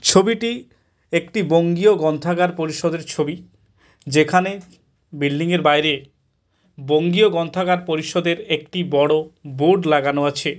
ছবিটি একটি বঙ্গীয় গ্রন্থাগার পরিষদের ছবি। যেখানে বিল্ডিং এর বাইরে বঙ্গীয় গ্রন্থাগার পরিষদের একটি বড়ো বোর্ড লাগানো আছে।